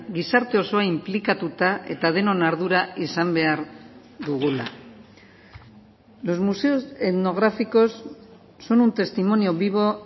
gizarte osoa inplikatuta eta denon ardura izan behar dugula los museos etnográficos son un testimonio vivo